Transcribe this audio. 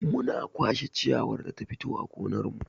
Muna kwashe ciyawar da ta fito a gonar mu.